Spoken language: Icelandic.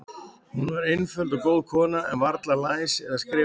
Hún var einföld og góð kona, en varla læs eða skrifandi.